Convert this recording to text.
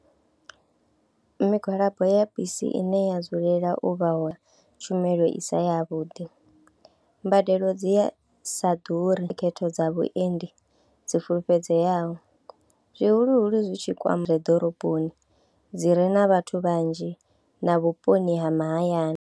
Migwalabo ya bisi ine ya dzulela u vha u tshumelo i si yavhuḓi, mbadelo dzi sa ḓuri khetho dza vhuendi dzi fulufhedzeaho zwihuluhulu zwi tshi kwama ḓoroboni dzi re na vhathu vhanzhi na vhuponi ha mahayani.